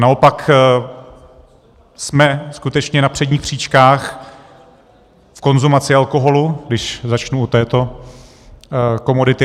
Naopak jsme skutečně na předních příčkách v konzumaci alkoholu, když začnu u této komodity.